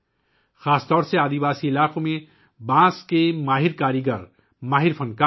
خاص طور پر قبائلی علاقوں میں بانس کے ماہر کاریگر، ہنر مند فنکار موجود ہیں